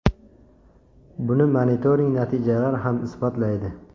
Buni monitoring natijalari ham isbotlaydi.